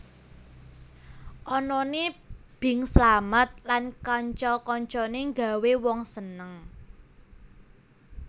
Anané Bing Slamet lan kanca kancane nggawé wong seneng